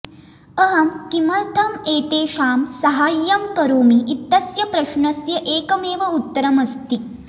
अहं किमर्थम् एतेषां साहाय्यं करोमि इत्यस्य प्रश्नस्य एकमेव उत्तरमस्ति